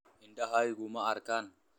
Indhahaygu ma arkaan.